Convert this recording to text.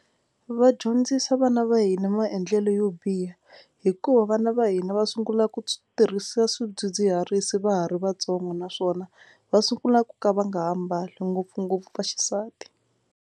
Va dyondzisa vana va hina maendlelo yo biha hikuva vana va hina va sungula ku tirhisa swidzidziharisi va ha ri vatsongo naswona va sungula ku ka va nga ha mbali ngopfungopfu va xisati.